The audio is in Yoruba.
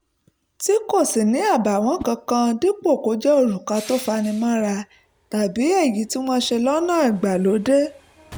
tí kò sì ní àbààwọ́n kankan dípò kó jẹ́ òrùka tó fani mọ́ra tàbí èyí tí wọ́n ṣe lọ́nà ìgbàlódé